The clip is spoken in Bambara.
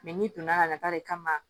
n'i donna ka na ta de kama